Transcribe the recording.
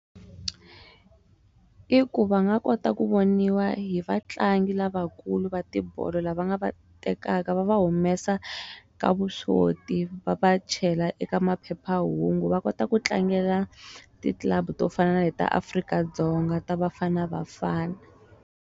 I ku va nga kota ku voniwa hi vatlangi lavakulu va tibolo lava nga va tekaka va va humesa ka vuswoti va va chela eka maphephahungu va kota ku tlangela ti club to fana na ta Afrika-Dzonga ta Bafana Bafana.